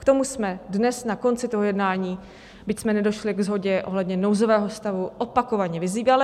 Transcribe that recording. K tomu jsme dnes na konci toho jednání, byť jsme nedošli ke shodě ohledně nouzového stavu, opakovaně vyzývali.